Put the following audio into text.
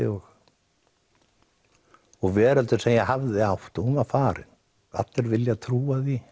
og veröldin sem ég hafði hún var farin allir vilja trúa því